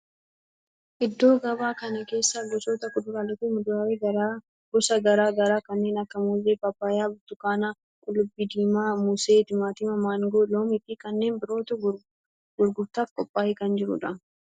Iddoo gabaa kana keessa gosoota kuduraalee fi muduraalee gosa garaa garaa kanneen akka muuzii, paappayyaa, burtukaana, qullubbii diimaa, moosee, timaatima, maangoo, loomii fi kanneen birootu gurgurtaaf qoophaa'ee kan jiru dha.